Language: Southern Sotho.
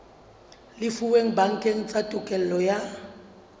lefuweng bakeng sa tokelo ya